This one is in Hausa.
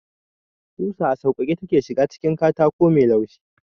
Kusa a sauƙaƙe take ​​shiga cikin katako mai laushi.